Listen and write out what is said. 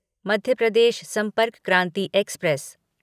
Madhya Pradesh Sampark Kranti express